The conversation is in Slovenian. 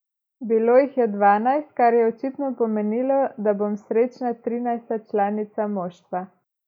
Bilo jih je dvanajst, kar je očitno pomenilo, da bom srečna trinajsta članica moštva.